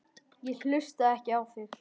Ég hlusta ekki á þig.